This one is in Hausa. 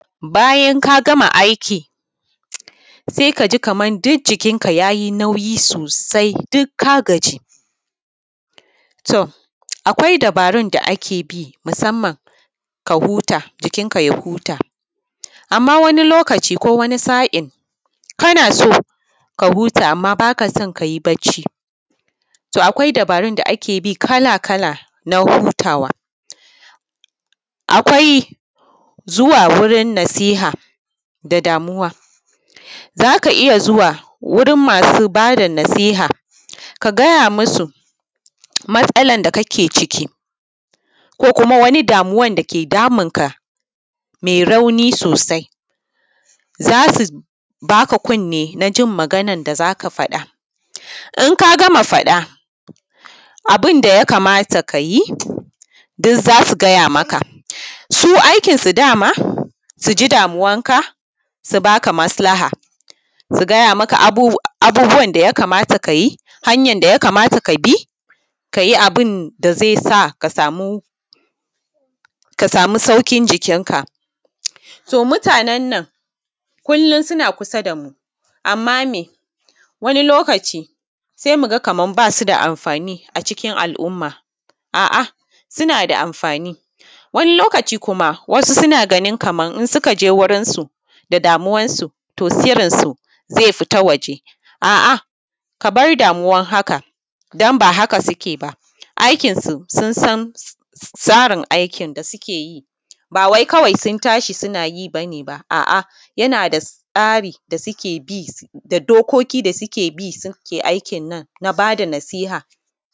Bayan ka gama aiki se ka ji duk jikinka ya yi nauyi sosai duk ka gaji, to akwai dubarun da ake bi musamman ka huta, jikinka ya huta amma wani lokaci ko a wani sain kana so ka huta amma ba ka so ka yi bacci. To, akwai dubarun da ake bi kala-kala na hutawa, akwai zuwa wajen nasiha da damuwa za ka iya zuwa gurin masu ba da nasiha, ka gaya musu matsalan da kake ciki ko wani damuwan da ke damunka me rauni sosai za su baka kunni najin maganan da za ka faɗa. In ka gama faɗa, abin da ya kamata ka yi duk za su gaya maka, su aikinsu dama su ji damuwanka, su ba ka maslaha, su gaya maka abubuwan da ya kamata ka yi da hanyan da ya kamata ka bi ka yi abin da ze sa ka samu sauƙin jikinka. To, mutanen nan kullun suna kusa damu amma me, wani lokaci se mu ga kaman ba su da anfani a cikin al’umma, a’a suna da anfani wani lokaci kuma wasu suna ganin kaman in suka je wurinsu da damuwansu to sirransu ze fita waje. A’a, ka bar damuwan haka don ba haka suke ba, aikinsu sun san tsarin aikin da suke yi ba wai kawai sun tashi suna yi kawai, a’a yana da tsari da suke bi da dokoki da suke bi suke aikin nan na ba da nasiha.